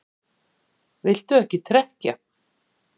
Viltu ekki trekkja?